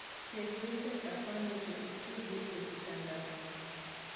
ket vincent afande to ituge e kitandana